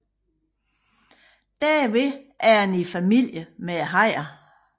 Derved er den i familie med hajerne